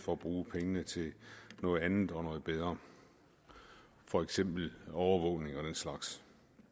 bruge pengene til noget andet og noget bedre for eksempel overvågning og den slags